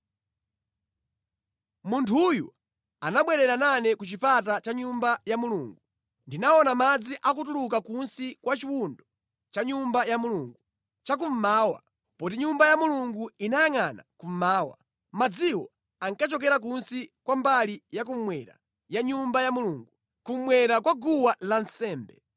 Munthuyo anabwerera nane ku chipata cha Nyumba ya Mulungu. Ndinaona madzi akutuluka kunsi kwa chiwundo cha Nyumba ya Mulungu chakummawa; poti Nyumba ya Mulungu inayangʼana kummawa. Madziwo ankachokera kunsi kwa mbali yakummwera ya Nyumba ya Mulungu; kummwera kwa guwa lansembe.